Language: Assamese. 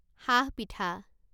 সাহ পিঠা